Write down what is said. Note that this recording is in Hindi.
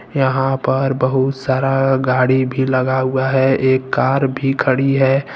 यहां पर बहुत सारा गाड़ी भी लगा हुआ है एक कार भी खड़ी है।